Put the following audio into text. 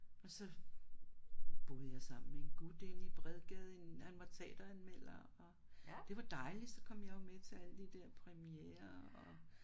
Og så boede jeg sammen med en gut inde i Bredgade i en han var teateranmelder og det var dejligt så kom jeg jo med til alle de der premierer og